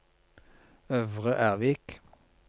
Øvre Ervik